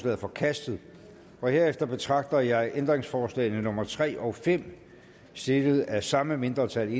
er forkastet herefter betragter jeg ændringsforslagene nummer tre og fem stillet af samme mindretal